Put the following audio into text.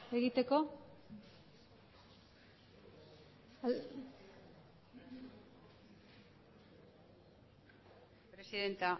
egiteko presidenta